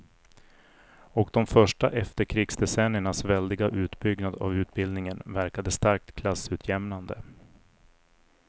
Och de första efterkrigsdecenniernas väldiga utbyggnad av utbildningen verkade starkt klassutjämnande.